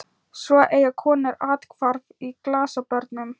Svo eiga konur athvarf í glasabörnum.